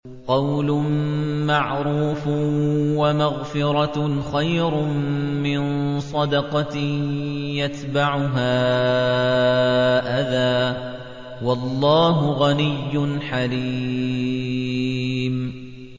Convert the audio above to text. ۞ قَوْلٌ مَّعْرُوفٌ وَمَغْفِرَةٌ خَيْرٌ مِّن صَدَقَةٍ يَتْبَعُهَا أَذًى ۗ وَاللَّهُ غَنِيٌّ حَلِيمٌ